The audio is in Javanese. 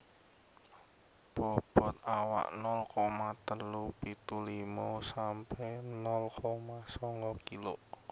Bobot awak nol koma telu pitu limo sampe nol koma songo kilo